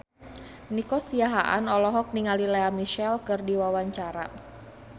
Nico Siahaan olohok ningali Lea Michele keur diwawancara